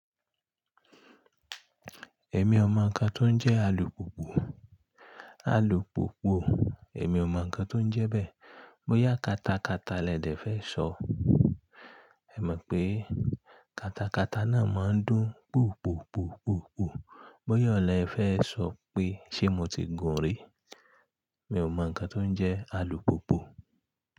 Èmi ò mọ ǹkan tó ń jẹ́ alùpùpù, alùpùpù èmi ò mọ ǹkan tó ń jẹ bẹ́ẹ̀. Bóyá katakata lẹ̀dẹ̀ fẹ́ sọ, è mo pé katakata náà máa ń dún pùpùpùpùpù. Bóyá oun le fẹ́ sọ pé ṣé mo ti gùn rí. Mi o mọ ǹkan tó ń jẹ́ alùpùpù.